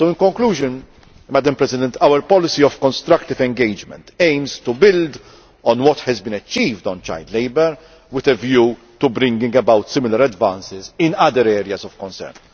So, in conclusion, Madam President, our policy of constructive engagement aims to build on what has been achieved on child labour with a view to bringing about similar advances in other areas of concern.